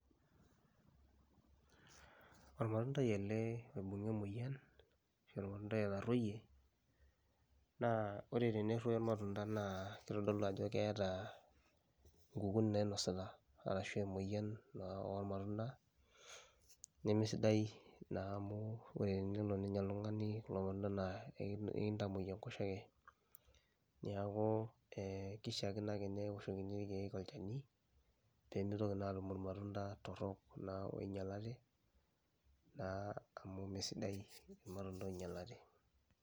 Ormatundai ele oibung'a emoyian ashu ormatundai otarueyie naa ore teneruoyo ormatunda naa kitodolu ajo keeta inkukun nainasita arashu emoyian naa ormatunda, nemesidai naa amu ore enelo nenya oltung'ani kulo matunda naa eki ekintamuoi enkoshoke. Neeku ee kishaakino ake newoshokini irkeek olchani pee mitoki naa aatum irmatunda torok naa oinyalate naa amu mee sidai irmatunda oinyalate.